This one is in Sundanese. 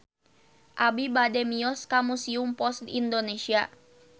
Abi bade mios ka Museum Pos Indonesia